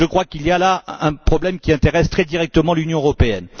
Il y a là un problème qui intéresse très directement l'Union européenne.